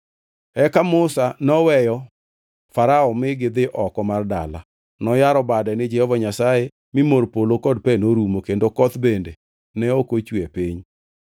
Eka Musa noweyo Farao mi gidhi oko mar dala. Noyaro bade ni Jehova Nyasaye, mi mor polo kod pe norumo kendo koth bende ne ok ochwe e piny.